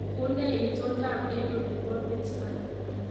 Unee itondoab eng olibo Pittsburgh